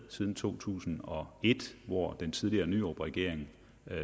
siden to tusind og et hvor den tidligere nyrupregering